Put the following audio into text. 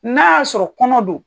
N'a y'a sɔrɔ kɔnɔ do.